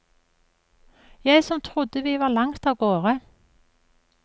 Jeg som trodde vi var langt avgårde.